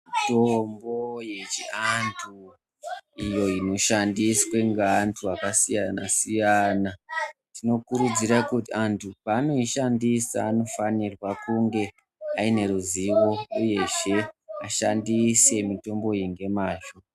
Mutombo yechiantu iyo inoshandiswe ngeantu akasiyana siyana Tinokudzira kuti antu paanoishandisa anofanirwa kunge ane ruziwo uyezhe ashandise mutomboyi ngemazho.